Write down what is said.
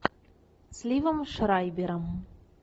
с ливом шрайбером